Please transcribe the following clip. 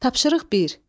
Tapşırıq bir.